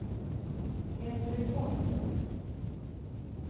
Henry Holm